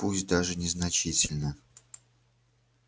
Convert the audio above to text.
пусть даже незначительно